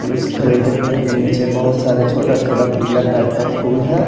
उस खजूर के पेड़ के नीचे बहुत सारे छोटा-छोटा पीला टाइप का फूल है।